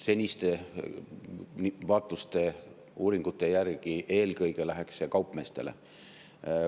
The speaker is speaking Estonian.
Seniste vaatluste, uuringute järgi eelkõige läheks see kaupmeestele.